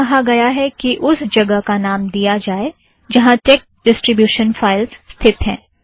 यहाँ कहाँ गया है कि उस जगह का नाम दिया जाएं जहाँ टेक डीस्ट्रिब्यूशन स्थित है